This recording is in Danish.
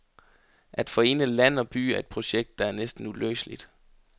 At forene land og by er et projekt, der er næsten uløseligt.